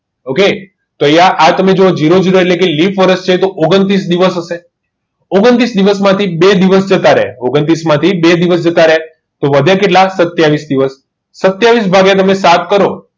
okay તો તમે આ જુઓ જીરો જીરો એટલે કે lip year તો ઓગણત્રીસ દિવસ હશે